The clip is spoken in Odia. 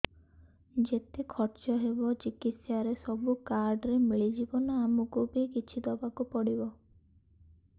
ଯେତେ ଖର୍ଚ ହେବ ଚିକିତ୍ସା ରେ ସବୁ କାର୍ଡ ରେ ମିଳିଯିବ ନା ଆମକୁ ବି କିଛି ଦବାକୁ ପଡିବ